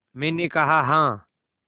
मैंने कहा हाँ